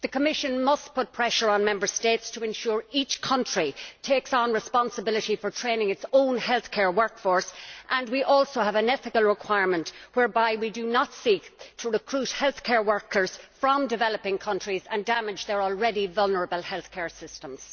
The Commission must put pressure on Member States to ensure each country takes responsibility for training its own health care workforce and that we also have an ethical requirement whereby we do not seek to recruit health care workers from developing countries and damage their already vulnerable health care systems.